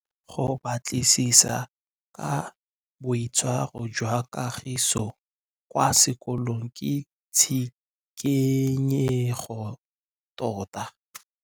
Go batlisisa ka boitshwaro jwa Kagiso kwa sekolong ke tshikinyêgô tota.